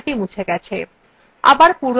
দেখুন লেখাটি মুছে গেছে